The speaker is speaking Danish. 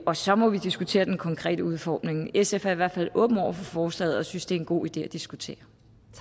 og så må vi diskutere den konkrete udformning sf er i hvert fald åben over for forslaget og synes det er en god idé at diskutere